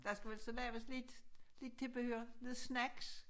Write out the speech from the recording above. Der skal vel så laves lidt lidt tilbehør lidt snacks